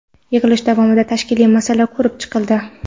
yig‘ilish davomida tashkiliy masala ko‘rib chiqildi.